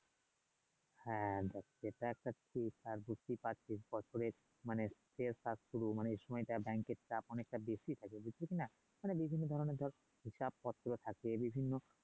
হ্যাঁ ধর সেটা একটা বুঝতে পারছিস বছরে মানে কাজ শুরু এই সময়টা মানে এর চাপ অনেকটা বেশি থাকে বুজিস না আরে ধর বিভিন্ন ধরনের হিসাব পত্র থাকে বিভিন্ন